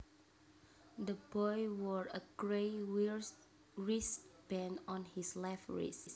The boy wore a grey wristband on his left wrist